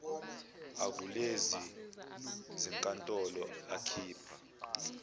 akulezi zinkantolo akhipha